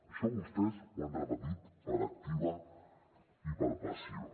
això vostès ho han repetit per activa i per passiva